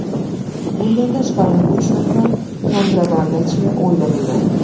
Bundan tashqari, uch nafar kontrabandachi o‘ldirildi.